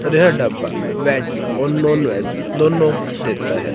और यह ढाबा वेज और नॉन वेज दोनो देता है।